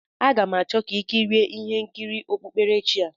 A ga m achọ ka i kirie ihe nkiri okpukperechi a.